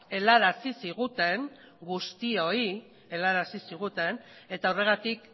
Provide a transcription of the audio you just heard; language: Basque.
helarazi ziguten guztioi helarazi ziguten eta horregatik